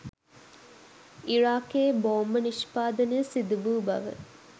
ඉරාකයේ බෝම්බ නිෂ්පාදනය සිදුවූ බව